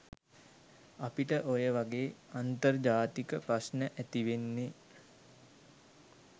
අපිට ඔයවගේ අන්තර්ජාතික ප්‍රශ්න ඇතිවෙන්නේ?